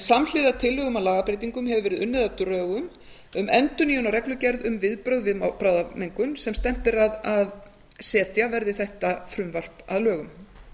samhliða tillögum að lagabreytingum hefur verið unnið að drögum um endurnýjun á reglugerð um viðbrögð við bráðamengun sem stefnt er að því að setja verði þetta frumvarp að lögum